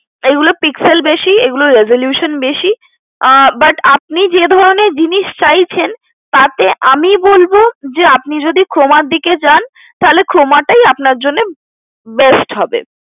এগুলো pixel বেশি এগুলোর resolution বেশি আহ but আপনি যে ধরণের জিনিস চাইছেন, তাতে আমি বলবো যে আপনি যদি Croma র দিকে যান তাহলে Croma টাই আপনার জন্য best হবে।